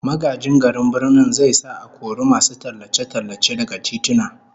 Magajin garin Birnin zai sa a kori masu tallace-tallace daga tituna